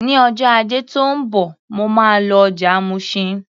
Ní ọjọ́ Ajé tó ń bọ̀, mo máa lọ ọjà Mushin.